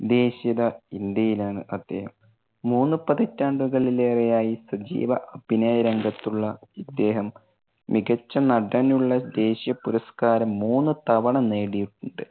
ദേശീയത, ഇന്ത്യയിലാണ് അദ്ദേഹം. മൂന്ന് പതിറ്റാണ്ടുകളിലേറെയായി സജീവ അഭിനയ രംഗത്തുള്ള ഇദ്ദേഹം, മികച്ച നടനുള്ള ദേശീയ പുരസ്‍കാരം മൂന്നു തവണ നേടിയിട്ടുണ്ട്.